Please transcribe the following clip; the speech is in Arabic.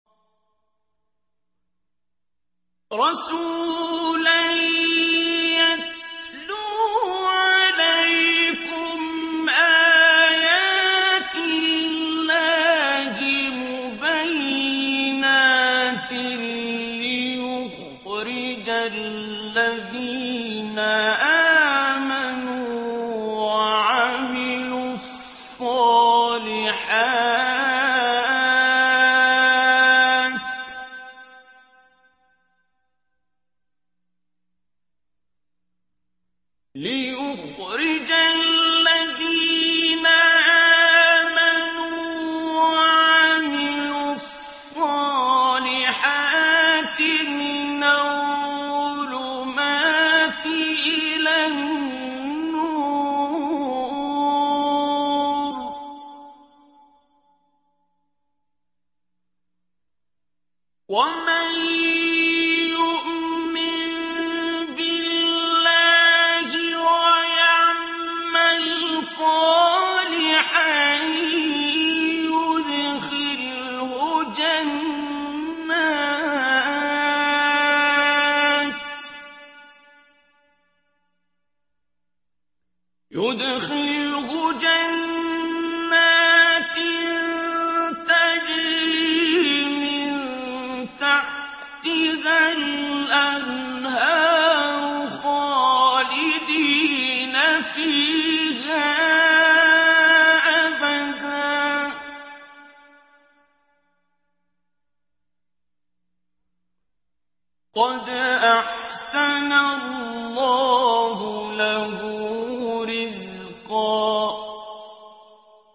رَّسُولًا يَتْلُو عَلَيْكُمْ آيَاتِ اللَّهِ مُبَيِّنَاتٍ لِّيُخْرِجَ الَّذِينَ آمَنُوا وَعَمِلُوا الصَّالِحَاتِ مِنَ الظُّلُمَاتِ إِلَى النُّورِ ۚ وَمَن يُؤْمِن بِاللَّهِ وَيَعْمَلْ صَالِحًا يُدْخِلْهُ جَنَّاتٍ تَجْرِي مِن تَحْتِهَا الْأَنْهَارُ خَالِدِينَ فِيهَا أَبَدًا ۖ قَدْ أَحْسَنَ اللَّهُ لَهُ رِزْقًا